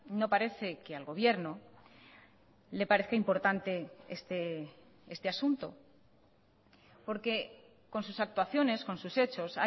no parece que al gobierno le parezca importante este asunto porque con sus actuaciones con sus hechos